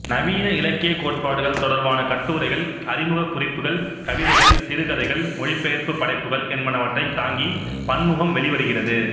நவீன இலக்கியக் கோட்பாடுகள் தொடர்பான கட்டுரைகள் அறிமுகக் குறிப்புக்கள் கவிதைகள் சிறுகதைகள் மொழிபெயர்ப்புப் படைப்புக்கள் என்பனவற்றைத் தாங்கி பன்முகம் வெளிவருகிறது